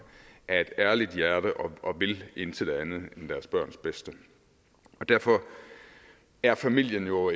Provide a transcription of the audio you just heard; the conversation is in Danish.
af et ærligt hjerte og vil intet andet end deres børns bedste og derfor er familien jo